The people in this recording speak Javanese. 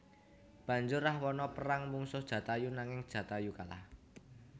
Banjur Rahwana perang mungsuh Jatayu nanging Jatayu kalah